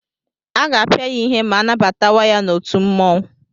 Aga-apịa ya ihe ma anabatawa ya n'otu mmụọnwụ.